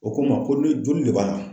O ko n ma ko ni joli le b'a la